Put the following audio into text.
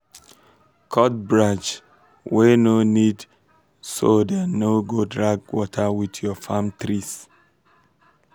cut branch um wey no need so dem no go drag water with your farm trees.